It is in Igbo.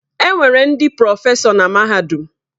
Enwere ndị prọfesọ na mahadum.